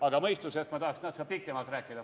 Aga mõistusest ma tahaksin natuke pikemalt rääkida.